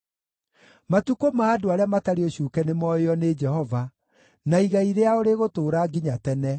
Matukũ ma andũ arĩa matarĩ ũcuuke nĩmooĩo nĩ Jehova, na igai rĩao rĩgũtũũra nginya tene.